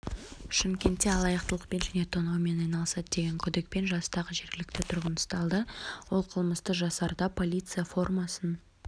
шымкентте алаяқтықпен және тонаумен айналысты деген күдікпен жастағы жергілікті тұрғын ұсталды ол қылмысты жасарда полиция формасын